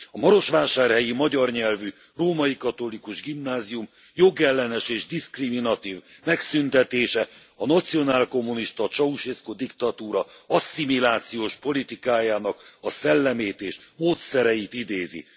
A marosvásárhelyi magyar nyelvű római katolikus gimnázium jogellenes és diszkriminatív megszüntetése a nacionálkommunista Ceausescu diktatúra asszimilációs politikájának a szellemét és módszereit idézi.